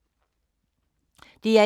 DR1